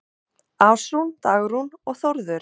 Ása, Dagrún og Þórður.